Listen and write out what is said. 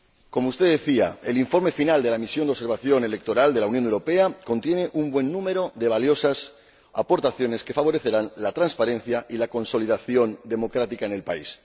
Como usted decía, el informe final de la Misión de Observación Electoral de la Unión Europea contiene un buen número de valiosas aportaciones que favorecerán la transparencia y la consolidación democrática en el país.